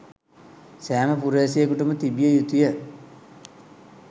සෑම පුරවැසියෙකුටම තිබිය යුතුය.